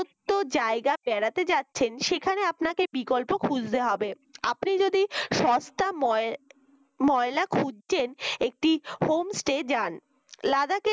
তো জায়গা বেড়াহাতে যাচ্ছেন সেখানে আপনাকে বিকল্প খুঁজতে হবে, আপনি যদি সস্তা ময় ময়লা খুঁজছেন একটি homestay যান লাদাকে